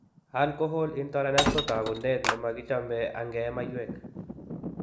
Alcohol intolerance ko taakunet ko nemakichame angey mayweek.